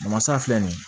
Masa filɛ nin ye